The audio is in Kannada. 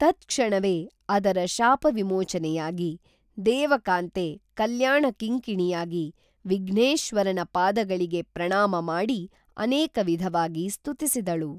ತತ್‌ಕ್ಷಣವೇ ಆದರ ಶಾಪವಿಮೋಚನೆಯಾಗಿ ದೇವಕಾಂತೆ ಕಲ್ಯಾಣ ಕಿಂಕಿಣಿಯಾಗಿ ವಿಘ್ನೇಶ್ವರನ ಪಾದಗಳಿಗೆಪ್ರಣಾಮ ಮಾಡಿ ಅನೇಕ ವಿಧವಾಗಿ ಸ್ತುತಿಸಿದಳು